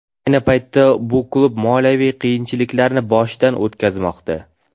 Ayni paytda bu klub moliyaviy qiyinchiliklarni boshidan o‘tkazmoqda.